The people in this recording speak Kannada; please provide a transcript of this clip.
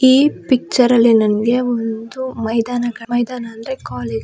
ಈ ಪಿಕ್ಚರ್ ಅಲ್ಲಿ ನಮಗೆ ಒಂದು ಮೈದಾನ ಕ- ಮೈದಾನ ಅಂದ್ರೆ ಕಾಲೇಜು--